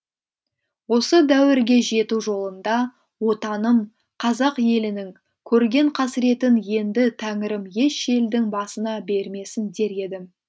осы дәуірге жету жолында отаным қазақ елінің көрген қасіретін енді тәңірім еш елдің басына бермесін дер едім